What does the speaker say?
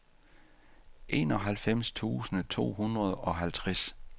enoghalvfems tusind to hundrede og halvtreds